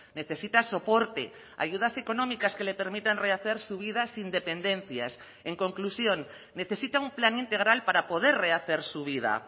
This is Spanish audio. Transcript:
necesita soporte ayudas económicas que le permitan rehacer su vida sin dependencias en conclusión necesita un plan integral para poder rehacer su vida